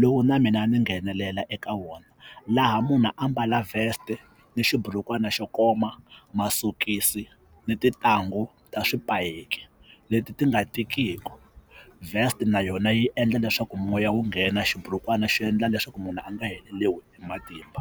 lowu na mina ni nghenelela eka wona laha munhu ambala vest ni xiburukwani xo koma masokisi ni tintangu ta swipaki leti ti nga tikiku vest na yona yi endla leswaku moya wu nghena xiburukwani xi endla leswaku munhu a nga heleriwi hi matimba.